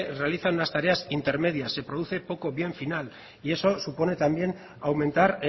realizan unas tareas intermedias se produce poco bien final y eso supone también aumentar